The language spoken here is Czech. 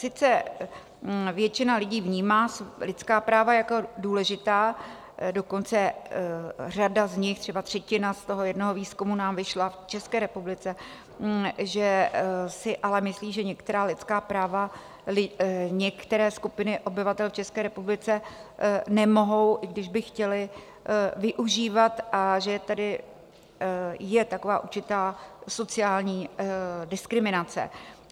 Sice většina lidí vnímá lidská práva jako důležitá, dokonce řada z nich, třeba třetina z toho jednoho výzkumu nám vyšla v České republice, že si ale myslí, že některá lidská práva některé skupiny obyvatel v České republice nemohou, i když by chtěly, využívat, a že je tedy taková určitá sociální diskriminace.